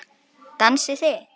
Dansið þið.